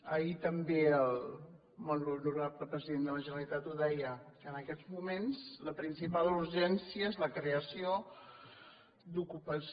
ahir també el molt honorable president de la generalitat ho deia que en aquests moments la principal urgència és la creació d’ocupació